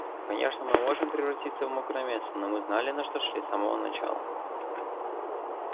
конечно мы можем превратиться в мокрое место но мы знали на что шли с самого начала